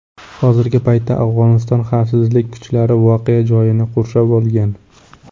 Hozirgi paytda Afg‘oniston xavfsizlik kuchlari voqea joyini qurshab olgan.